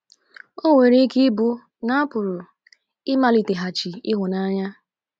O nwere ike ịbụ na apụrụ ịmaliteghachi ịhụnanya.